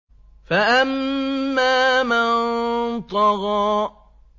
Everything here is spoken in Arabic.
فَأَمَّا مَن طَغَىٰ